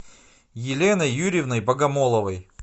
еленой юрьевной богомоловой